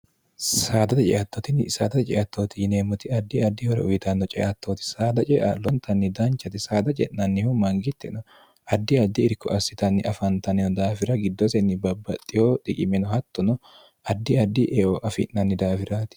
saadate ceattotinni saadate ceattooti yineemmoti addi addi hore uwitanno ceattooti saada cea lontanni danchati saada ce'nannihu mangittino addi addi irko assitanni afantaniho daafira giddosenni babbaxxiho diqimeno hattono addi addi eo afi'nanni daawiraati